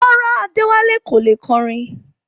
Rárá, Adewale kò lè kọrin